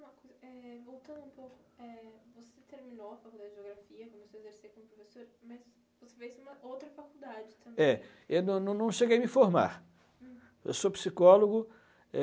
Uma coisa, é, voltando um pouco, é, você terminou a faculdade de Geografia, começou a exercer como professor, mas você fez uma outra faculdade também. É, eu não não não cheguei a me formar, eu sou psicólogo